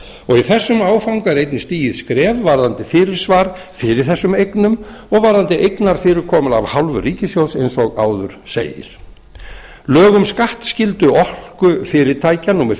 kemur í þessum áfanga er einnig stigið skref varðandi fyrirsvar fyrir þessum eignum og varðandi eigna fyrirkomulag af hálfu ríkissjóðs eins og áður segir lög um skattskyldu orkufyrirtækja númer